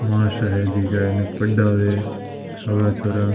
मासांब है जिका आने पढावे सगला छोरा --